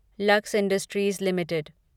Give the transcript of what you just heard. lux industries limited